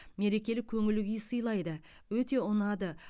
мерекелік көңіл күй сыйлайды өте ұнады